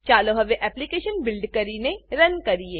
ચાલો હવે application build કરીને રન કરીએ